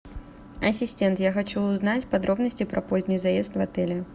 ассистент я хочу узнать подробности про поздний заезд в отеле